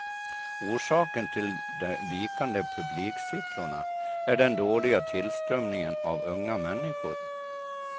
Orsaken till de vikande publiksiffrorna är den dåliga tillströmningen av unga människor.